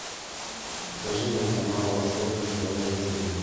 покажи мне канал восток на тв на телевизоре